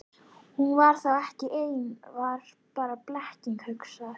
Hún var þá ekki ein, það var bara blekking hugans.